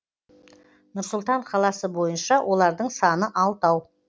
нұр сұлтан қаласы бойынша олардың саны алтау